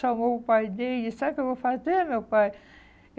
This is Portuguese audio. Chamou o pai dele, e sabe o que eu vou fazer, meu pai?